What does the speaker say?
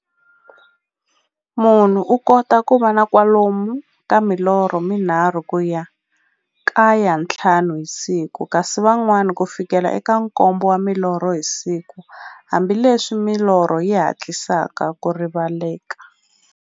Munhu u kota ku va na kwalomu ka milorho mi nharhu ku ya ka ya nthlanu hi siku, kasi van'wana ku fikela eka nkombo wa milorho hi siku, hambileswi milorho yi hatlisaka ku rivaleka.